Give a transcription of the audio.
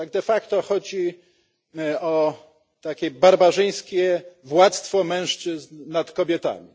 De facto chodzi o takie barbarzyńskie władztwo mężczyzn nad kobietami.